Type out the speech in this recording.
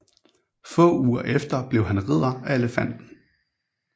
Få uger efter blev han Ridder af Elefanten